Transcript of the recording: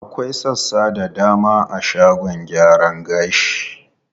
Akwai sassa da dama a shagon gyaran gashi.